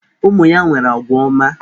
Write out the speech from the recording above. Ụmụ ya nwere agwa ọma.